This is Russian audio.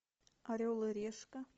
орел и решка